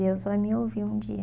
Deus vai me ouvir um dia.